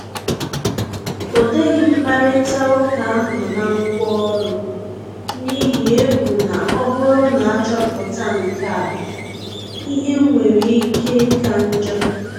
Ọdeghi mkparịta uka ahụ na ngwaọrụ, n’ihi egwu na ọ bụrụ na achoputa nkea, ihe nwere ike ịka njọ